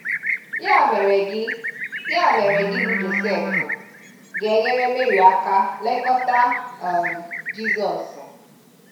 Ya mere gị Ya mere gị bụ Josef ga enyere Mary aka lekọta um Jizọs.